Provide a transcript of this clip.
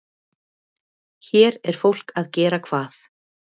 Hér er fólk að gera hvað?